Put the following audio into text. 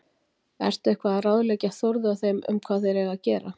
Ertu eitthvað að ráðleggja Þórði og þeim um hvað þeir eiga að gera?